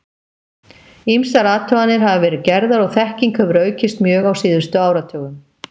Ýmsar athuganir hafa verið gerðar og þekking hefur aukist mjög á síðustu áratugum.